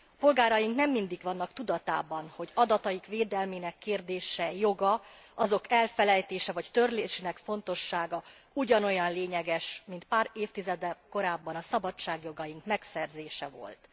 Polgáraink nem mindig vannak tudatában, hogy adataik védelmének kérdése, joga, azok elfelejtése, vagy törlésének fontossága ugyanolyan lényeges, mint már évtizeddel korábban a szabadságjogaink megszerzése volt.